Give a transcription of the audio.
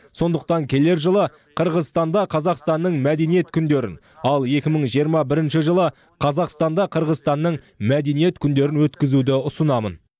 сондықтан келер жылы қырғызстанда қазақстанның мәдениет күндерін ал екі мың жиырма бірінші жылы қазақстанда қырғызстанның мәдениет күндерін өткізуді ұсынамын